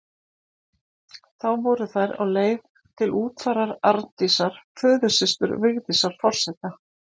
Þá voru þær á leið til útfarar Arndísar, föðursystur Vigdísar forseta.